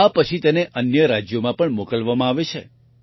આ પછી તેને અન્ય રાજ્યોમાં પણ મોકલવામાં આવે છે